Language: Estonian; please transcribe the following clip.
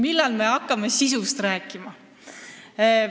Minister ei taibanud sellele vastata.